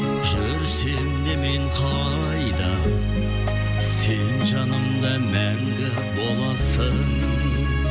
жүрсем де мен қайда сен жанымда мәңгі боласың